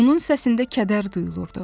Onun səsində kədər duyulurdu.